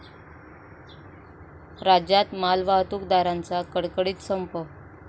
राज्यात मालवाहतूकदारांचा कडकडीत संप